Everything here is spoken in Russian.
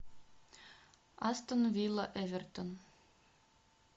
астон вилла эвертон